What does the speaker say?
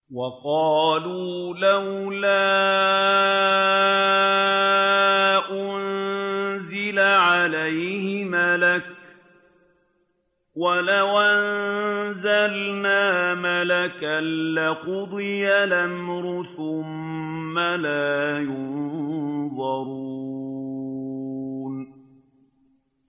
وَقَالُوا لَوْلَا أُنزِلَ عَلَيْهِ مَلَكٌ ۖ وَلَوْ أَنزَلْنَا مَلَكًا لَّقُضِيَ الْأَمْرُ ثُمَّ لَا يُنظَرُونَ